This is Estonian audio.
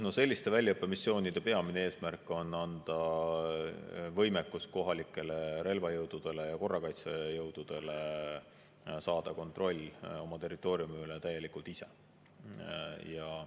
No selliste väljaõppemissioonide peamine eesmärk on anda võimekus kohalikele relvajõududele ja korrakaitsejõududele saada kontroll oma territooriumi üle täielikult enda kätte.